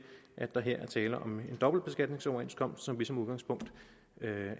at der her tale om en dobbeltbeskatningsoverenskomst som vi som udgangspunkt